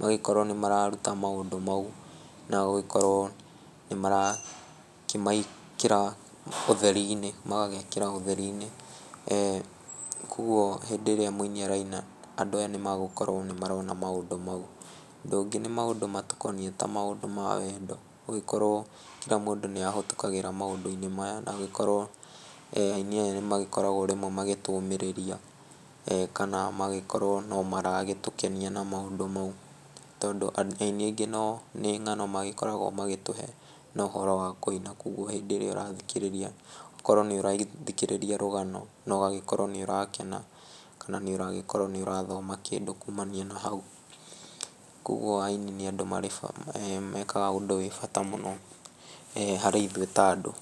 Magĩkorwo nĩ mararuta maũndũ mau na gũgĩkorwo nĩ marakĩmekĩra ũtheri-inĩ, magagĩkĩra ũtheri-inĩ. Koguo hĩndĩ ĩrĩa mũini araina andũ aya nĩ magũkorwo nĩ marona maũndũ mau. Ũndũ ũngĩ nĩ maũndũ matũkoniĩ ta maũndũ ma wendo nĩ gũgĩkorwo kira mũndũ nĩ ahatũkagĩra maũndũ-inĩ maya na agĩkorwo aini aya nĩ magĩkoragwo rĩmwe magĩtũmĩrĩria, kana magĩkorwo no maragĩtũkenia na maũndũ mau, tondũ ainĩ aingĩ nĩ ngano makoragwo magĩtũhe no ũhoro wa kũina. Koguo hĩndĩ ĩrĩa ũrathikĩrĩria ũgakorwo nĩ ũrathikĩrĩria rũgano na ũgakorwo nĩ ũrakena, kana nĩ ũragĩkorwo nĩ ũrathoma kĩndũ kuumania na hau. Koguo aini nĩ mekaga ũndũ wĩ bata mũno harĩ ithuĩ ta andũ.